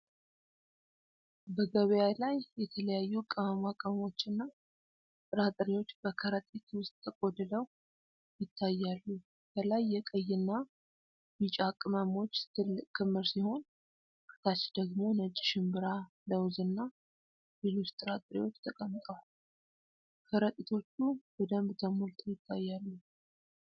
በገበያ ላይ የተለያዩ ቅመማ ቅመሞች እና ጥራጥሬዎች በከረጢት ውስጥ ተቆልለው ይታያሉ። ከላይ የቀይና ቢጫ ቅመሞች ትልቅ ክምር ሲሆን፤ ከታች ደግሞ ነጭ ሽንብራ፣ ለውዝ እና ሌሎች ጥራጥሬዎች ተቀምጠዋል። ከረጢቶቹ በደንብ ተሞልተው ይታያሉ።